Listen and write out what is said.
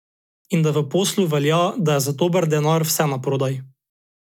In da v poslu velja, da je za dober denar vse naprodaj.